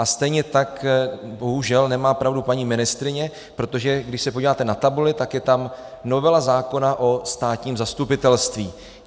A stejně tak bohužel nemá pravdu paní ministryně, protože když se podíváte na tabuli, tak je tam novela zákona o státním zastupitelství.